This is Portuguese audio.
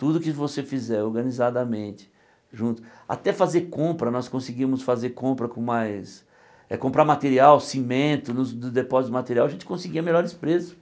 Tudo que você fizer organizadamente, junto... Até fazer compra, nós conseguimos fazer compra com mais... Comprar material, cimento nos nos depósitos de material, a gente conseguia melhores preços.